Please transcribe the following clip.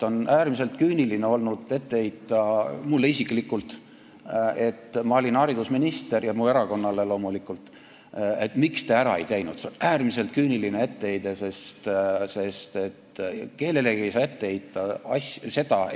On äärmiselt küüniline ette heita mulle isiklikult, kes ma olin haridusminister, ja loomulikult minu erakonnale, et miks te ise seda ära ei teinud.